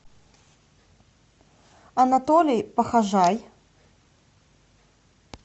анатолий похожай